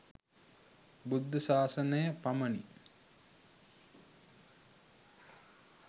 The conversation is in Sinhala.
බුද්ධ ශාසනයක පමණි.